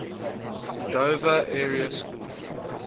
dover area school